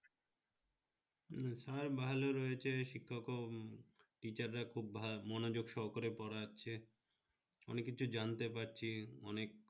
উম sir ভালো রয়েছে শিক্ষক ও teacher রা খুব ভা মনোযোগ সহকারে পড়াচ্ছে অনেক কিছু জানতে পাচ্ছি অনেক